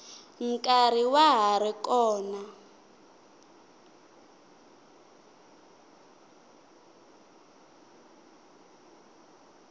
nkarhi wa ha ri kona